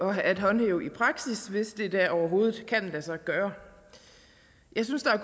at håndhæve i praksis hvis det da overhovedet kan lade sig gøre jeg synes at